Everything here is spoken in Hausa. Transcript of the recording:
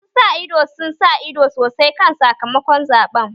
Masu sa ido sun sa ido sosai kan sakamakon zaɓen